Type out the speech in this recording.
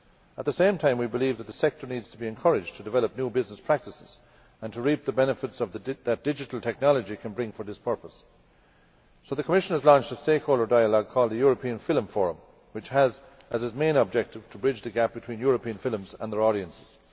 At the same time we believe that the sector needs to be encouraged to develop new business practices and to reap the benefits that digital technology can bring for this purpose. So the Commission has launched a stakeholder dialogue called the European Film Forum, which has as its main objective to bridge the gap between European films and their audiences.